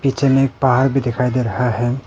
नीचे में एक पहाड़ भी दिखाई दे रहा है।